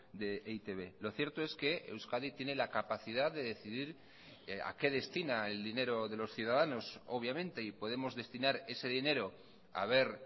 de e i te be lo cierto es que euskadi tiene la capacidad de decidir a qué destina el dinero de los ciudadanos obviamente y podemos destinar ese dinero a ver